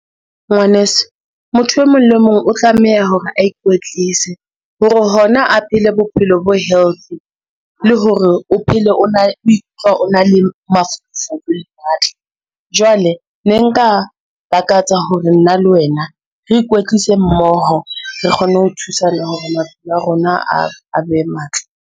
Ngwaneso, motho e mong le mong o tlameha hore a ikwetlise hore hona a phele bophelo bo healthy le hore o phele o ikutlwa o na le jwale ne nka lakatsa hore nna le wena re ikwetlise mmoho, re kgone ho thusana hore maphelo a rona a be matle.